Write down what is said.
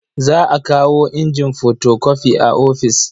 Za a kawo injin fotokofi a ofis.